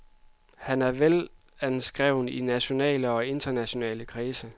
Han er velanskreven i nationale og internationale kredse.